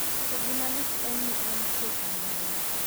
To gima lit en ni en tie kamano ."